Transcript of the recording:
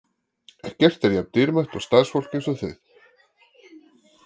Ekkert er jafn dýrmætt og starfsfólk eins og þið: fórnfúst, ötult og greint.